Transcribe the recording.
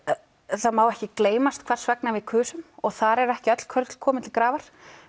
það má ekki gleymast hvers vegna við kusum og þar eru ekki öll kurl komin til grafar